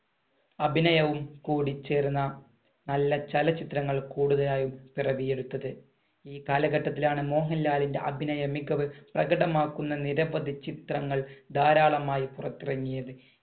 അഭിനയവും കൂടിച്ചേരുന്ന നല്ല ചലച്ചിത്രങ്ങൾ കൂടുതലായും പിറവിയെടുത്തത്. ഈ കാലഘട്ടത്തിലാണ് മോഹൻലാലിന്‍റെ അഭിനയം മികവ് പ്രകടമാക്കുന്ന നിരവധി ചിത്രങ്ങൾ ധാരാളമായി പുറത്തിറങ്ങിയത്.